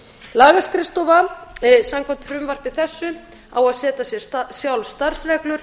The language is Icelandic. lagaskrifstofa samkvæmt frumvarpi þessu á að setja sér sjálf starfsreglur